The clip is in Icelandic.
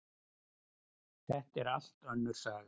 Þetta er allt önnur saga!